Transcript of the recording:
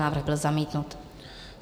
Návrh byl zamítnut.